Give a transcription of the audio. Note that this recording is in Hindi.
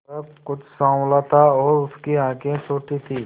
वह कुछ साँवला था और उसकी आंखें छोटी थीं